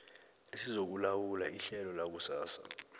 esizokulawula ihlelo lakusasa